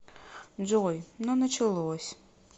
джой ну началось